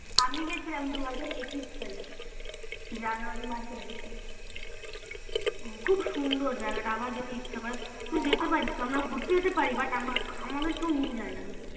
আমি গেছিলাম দুহাজার একুশ সালে জানুয়ারি মাসের দিকে খুব সুন্দর ওই জায়গায়টা আমরা ঘুরতে যেতে পারি but আমাদের কেউ নিয়ে যাই না ঘুরতে